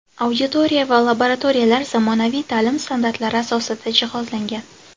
Auditoriya va laboratoriyalar zamonaviy ta’lim standartlari asosida jihozlangan.